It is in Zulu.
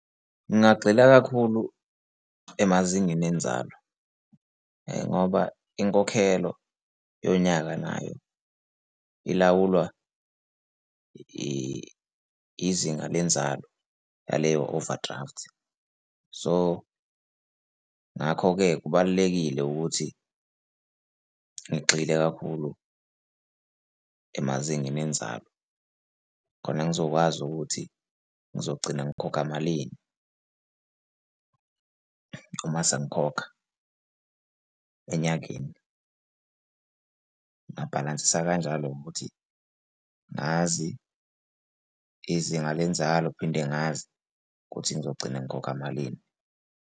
Ngingagxila kakhulu emazingeni enzalo ngoba inkokhelo yonyaka nayo ilawulwa izinga lenzalo yaleyo-overdraft. So, ngakho-ke, kubalulekile ukuthi ngigxile kakhulu emazingeni enzalo. Khona ngizokwazi ukuthi ngizogcina ngikhokha malini uma sengikhokha enyangeni. Ngingabhalansisa kanjalo ngokuthi ngazi izinga lenzalo phinde ngazi ukuthi ngizogcina ngikhokha malini.